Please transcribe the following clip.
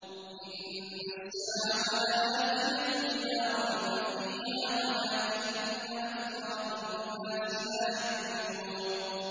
إِنَّ السَّاعَةَ لَآتِيَةٌ لَّا رَيْبَ فِيهَا وَلَٰكِنَّ أَكْثَرَ النَّاسِ لَا يُؤْمِنُونَ